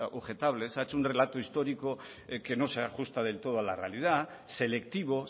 objetables ha hecho un relato histórico que no se ajusta del todo a la realidad selectivo